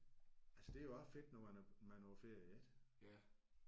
Altså det er jo også fedt når man er man er på ferie ik?